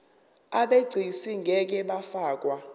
abegcis ngeke bafakwa